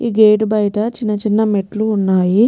ఈ గేట్ బయట చిన్న చిన్న మెట్లు ఉన్నయి.